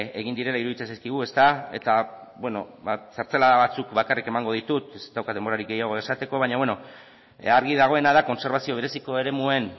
egin direla iruditzen zaigu eta zertzelada batzuk bakarrik emango ditut ez daukat denborarik gehiago esateko argi dagoena da kontserbazio bereziko eremuen